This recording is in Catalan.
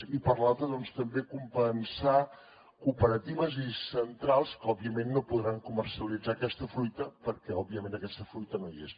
i per l’altra també compensar cooperatives i centrals que òbviament no podran comercialitzar aquesta fruita perquè òbviament aquesta fruita no hi és